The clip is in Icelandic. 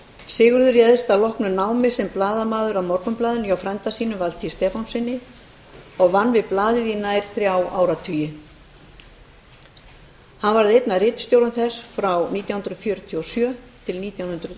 sigurður réðst að loknu námi sem blaðamaður að morgunblaðinu hjá frænda sínum valtý stefánssyni og vann við blaðið í nær þrjá áratugi hann var einn af ritstjórum þess frá nítján hundruð fjörutíu og sjö til nítján hundruð